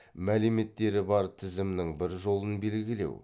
мәліметтері бар тізімнің бір жолын белгілеу